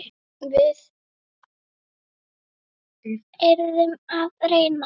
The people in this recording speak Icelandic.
En við yrðum að reyna.